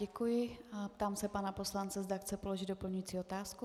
Děkuji a ptám se pana poslance, zda chce položit doplňující otázku.